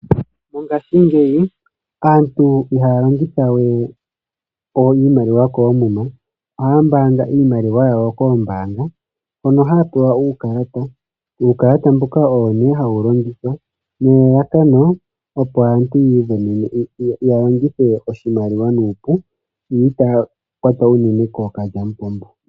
Mongashingeyi aantu ihaya longitha we iimaliwa koomuma ihe ohaya pungula iimaliwa yawo koombanga hono haya pewa uukalata owo ne hawu longithwa, opo aantu ya longithe oshimaliwa nuupu yo kaya kwatwe kookalyampombo.